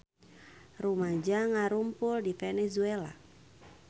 Rumaja ngarumpul di Venezuela